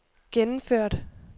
gennemført